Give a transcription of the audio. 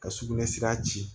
Ka sugunɛ sira ci